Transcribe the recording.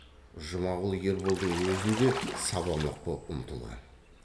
жұмағұл ерболдың өзін де сабамақ боп ұмтылған